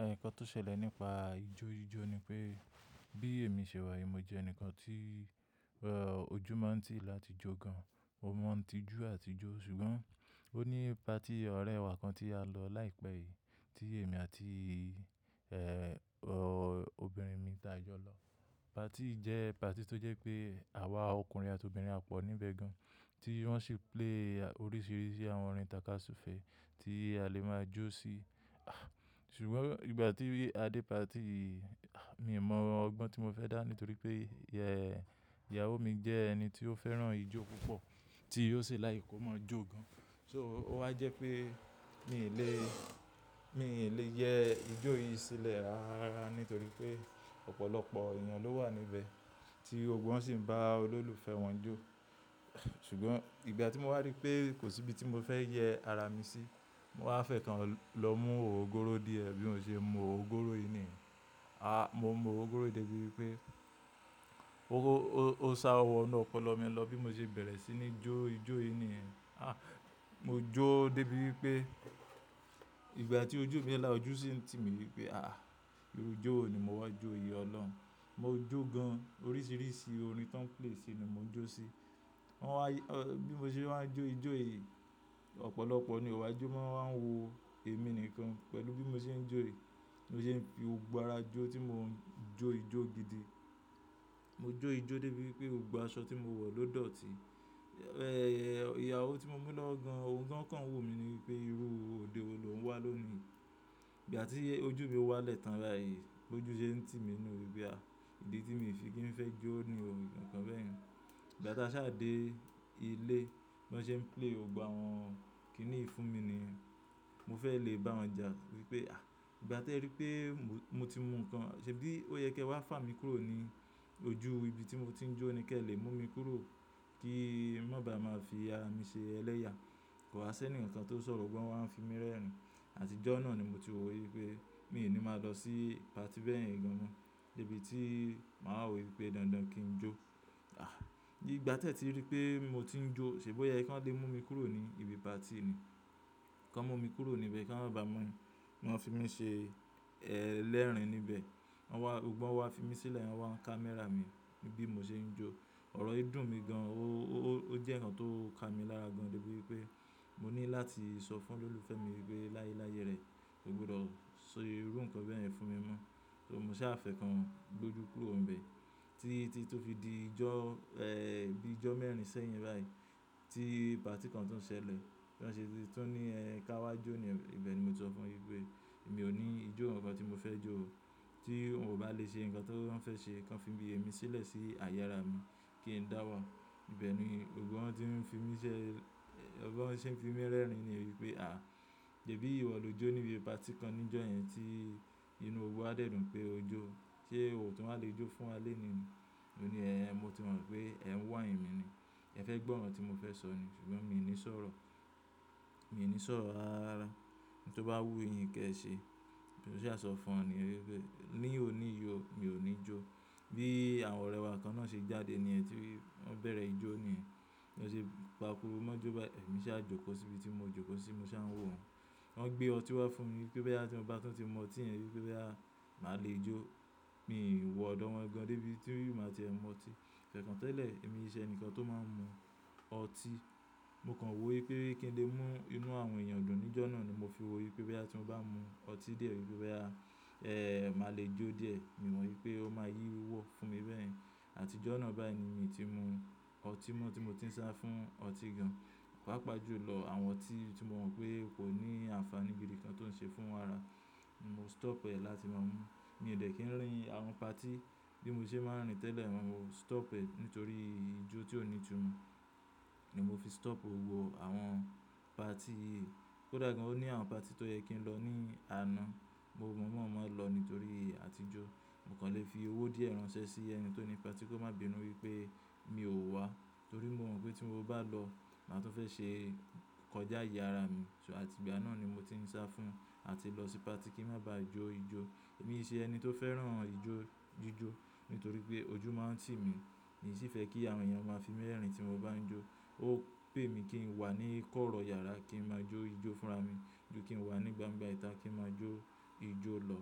Ẹh nǹkan tó ṣẹlẹ̀ nípa ijó ijó ni pé bí èmi ṣe wà, èmi jẹ́ ẹnìkan tí ọjú máa ń tì mí láti jó gan, mo máa ń tijú àti jó. Ṣùgbọ́n ó ní pati ọ̀rẹ́ wa kan tí a lọ láìpẹ́ yìí tí èmi àti, ẹ́, obìnrin mi ta jọ lọ. Pati yìí jẹ́ pati tó jẹ́ pé àwa ọkùnrin àti obìnrin à pọ̀ níbẹ̀ gan tí wọ́n ṣi play oríṣiríṣi àwọn orin tàkasúfẹ̀ẹ́ tí a lè máa jó sí. Àh! Ṣùgbọ́n ìgbà tí a dé pati yìí, àh! Mi ò mọ ọgbọ́n tí mo fẹ́ dá nítorí pé, ẹ́, ìyàwó mi jẹ́ ẹni tí ó fẹ́ràn ijó púpọ̀ tí yóò ṣe láìki ko mọ́ jó gan. So ó wá jẹ́ pé mi lè, mi lè yẹ ijó yìí sílẹ̀ rárá rárá nítorí pé ọ̀pọ̀lọpọ̀ èèyàn ló wà níbẹ̀ tí gbogbo wọn sì ń bá olólùfẹ́ wọn jó. Ṣùgbọ́n ìgbà tí mo wá rí pé kò sí ibi tí mo fẹ́ yẹ ara mi sí, mo wá fẹ́kan lọ mú ògogooró díẹ̀ bí mo ṣe mu ògogoró yìí nìyẹn. Ah! Mo mu ògogoró yìí débi wípé ó sa wọ́nu ọpọlọ mi lọ bí mo ṣe bẹ̀rẹ̀ sí ní jó ijó yìí nìyẹn. Ah! Mo jó débi wípé ìgbà tí ojú mi ń là ojú sí ń tì mí wípé àh! Irú ijó wo ni mo wá jó yìí ọlọ́run. Mo jó gan an oríṣiríṣi orin tóń play sí ni mo ń jó sí. Wọ́n wá, bí mo ṣe máa wa ń jó ijó yìí, ọ̀pọ̀lọpọ̀ ni ó wáa jọ mọ́ wọ́n wá wo èmi nìkan pẹ̀lú bí mo ṣe ń jó yí, bí mo ṣe ń fi òògùn ara jó tí mò ń jó ijó gidi. Mo jó ijó débi wípé òògùn aṣọ tí mo wọ̀ ló dọ̀tí. Ẹ̀hn, ìyàwó tí mo mú lọ́wọ́ gán an, òun gan an kàn wo mi ní wípé irú òde wo lòun ń wá lónìí. Ìgbà tí ojú mi wálẹ́ tàn báyìí bójú ṣe ń tì mí nu wípé àh! Ìdí tí mi fi kí ń fẹ́ jó ni yì o nǹkan bẹ́ẹ̀ yẹn. Ìgbà tí a sá dé ilé, bí wọ́n ṣe ń play gbogbo àwọn kíní yìí fún mi nìyẹn. Mo fẹ́ lè bá wọn jà wípé àh! Ìgbà tí ẹ rí pé mo ti mu nǹkan, ṣèbí ó yẹ kí ẹ wá fà mí kúrò ní ojú ibi tí mo ti ń jó ni kí ẹ lè mú mi kúrò kí n má bá má fi ara mi ṣe ẹlẹ́yà. Kò wá ṣe ni nǹkan tó sọ̀rọ̀ gbọ́gbo wọ́n wá n fi mí rẹ́rìn-ín. Àtijọ́ náà ni mo ti wò wípé mi ò ní máa lọ sí pati bẹ́ẹ̀ yẹn gan an no débi tí màá wò wípé dandan kí n jó. Àh! Ìgbà tí ẹ ti rí pé mo ti ń jó ṣèbí ó yẹ kí wọn lé mú mi kúrò ní ibi pati ni. Kọ́ mú mi kúrò níbẹ̀ kí wọ́n má bá máa, fi mí ṣe ẹlẹ́rìn-ín níbẹ̀. Wọ́n wá, gbogbo wọn wá fi mí sílẹ̀, wọ́n wá ń camera mi níbí mo ṣe ń jó. Ọ̀rọ̀ yìí dùn mí gan, ó jẹ́ nǹkan tó ka mi lára gan débi wípé mo ní láti sọ fún olólùfẹ́ mi wípé láyé láyé rẹ̀, kó gbọdọ̀ sọ irú nǹkan bẹ́ẹ̀ fún mi mọ́. So mo sá fẹ́kan gbójú kúrò níbẹ̀ tí ti tó fi di ijọ́, ẹ́, bí ijọ́ mẹ́rin sẹ́yìn báyìí tí pati kan tuń ṣẹlẹ̀ tí wọ́n ṣe tún ní ẹ ká wá jó níyẹn ibẹ̀ ni mo ti sọ fún wọn wípé èmi ò ní ijó, nǹkan tí mo fẹ́ jó o. Tí wọn ò bá lè ṣe nǹkan tí wọ́n fẹ́ ṣe, kí wọ́n fi èmi sílẹ̀ sí àyè ara mi kí n dáwà. Ìbẹ̀ ni gbogbo wọn tí ń fi mí ṣẹ́, gbogbo wọn sì ń fi mí rẹ́rìn-ín ni wípé àh! Sébi ìwọ ló jó níbi pati kan níjọ́ yẹn tí inú wa dẹ́dùn pé ojo tí ẹ ò tún má lè jó fún wa léni ni. Mo ní ẹ́, mo ti mọ̀ pé ẹ̀ ń wáini mi ni. Ẹ fẹ́ gbọ́ nǹkan tí mo fẹ́ sọ ni ṣùgbọ́n mi ò ní sọ̀rọ̀, mi ò ní sọ̀rọ̀ rárárárá. Ohun tó bá wú yín kí ẹ ṣe. Mo sá sọ fún wọn ni wípé ní òní yiò, mi ò ní jó. Bí àwọn ọ̀rẹ́ wa kan náà ṣe jáde nìyẹn ti i, wọ́n bẹ̀rẹ̀ ijó ni ẹ́. Wọ́n ṣe pakuru mọ́jo báyìí, èmi saá jókòó sí ibi tí mo jó kó sí, mo saa ń wò wọ́n. Wọ́n gbé ọtí wá fún mi pé bóyá tí mo bá tún ti mu ọtí yẹn wípé bóyá máa lè jó. Mi ò wọ ọ̀dọ̀ wọn gan débi tí mo máa tì ẹ mu ọtí. Fẹ́ kan tẹ́lẹ̀ èmi ee ṣe ẹni kan tó máa ń mu ọtí. Mo kàn wò wípé kí ń lè mú inú àwọn èèyàn dùn níjọ́ náà ni mo fi wò wípé bóyá tí mo bá mu ọtí dié wípé bóyá, ẹ́, máa lè jó díẹ̀. Mi ò mọ̀ wípé ó máa yí wò fún mi bẹ́ẹ̀yen. Àtijọ́ náà báyìí ni mi ò tí mu ọtí mọ́ tí mo ti ń sá fún ọtí gan, pàápàá jù lọ àwọn tí mo mọ̀ pé kò ní àǹfàní ibi kankan tó ń ṣe fún wa ara. Mo stop ẹ láti máa mú. Mi ò dẹ̀ kí ń rìn àwọn pati bí mo ṣe máa ń rìn tẹ́lẹ̀, mo stop ẹ nítorí ijó tí ò nítumọ̀. Ni mo fi stop gbogbo àwọn pati. Kódà gan o ní àwọn pati tó yẹ kí n lọ ní àná, mo mọ̀mo máa lọ nítorí àtijọ́. Mo kàn lè fi owó díẹ̀ ránṣẹ́ sí ẹni tó ni pati kó má bínú wípé mi ò wá torí mo mọ̀ wípé tí mo bá lọ, màá tún fẹ́ ṣe kọjá ìyà ara mi. So àti ìgbà náà ni mo ti ń sá fún àti lọ sí pati kí n má bá jó ijó. Èmi kì ṣe ẹni tó fẹ́ràn ijó jíjó nítorí pé ojú máa ń tì mí. Èmi sì fẹ́ kí àwọn èèyàn máa fi mí rẹ́rìn-ín tí mo bá ń jó. Ó pè mí kí n wà ní kọ́rọ́ yàrá kí n máa jó ijó fúnra mi ju kí n wà ní gbangba ìta kí n máa jó ijó lọ.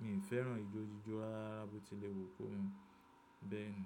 Mi ò fẹ́ràn ijó jíjó rata bó ti lè wù kó mọ bẹ́ẹ̀ ni.